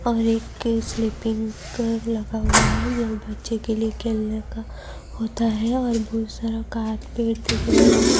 اور ایک کے سلیپنگ کڑوے لگا ہوا ہے۔ یہ بچھے کے لئے کھیلنے کا ہوتا ہے اور بھوت سارا پیڈ دیکھ رہا ہے۔